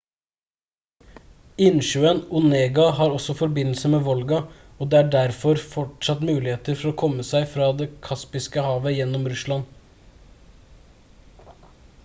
innsjøen onega har også forbindelse med volga og det er derfor fortsatt muligheter for å komme seg fra det kaspiske havet gjennom russland